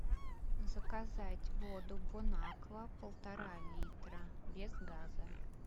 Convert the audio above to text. заказать воду бонаква полтора литра без газа